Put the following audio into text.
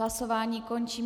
Hlasování končím.